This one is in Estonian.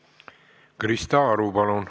Krista Aru, palun!